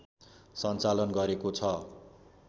सञ्चालन गरेको छ